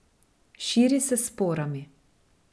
Širi se s sporami.